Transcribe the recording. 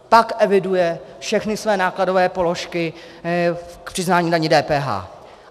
Pak eviduje všechny své nákladové položky v přiznání k dani DPH.